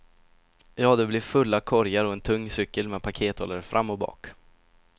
Ja, det blev fulla korgar och en tung cykel med pakethållare fram och bak.